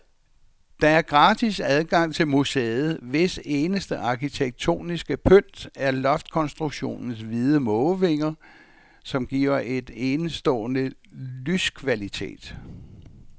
Der er gratis adgang til museet, hvis eneste arkitektoniske pynt er loftkonstruktionens hvide mågevinger, som giver en enestående lyskvalitet.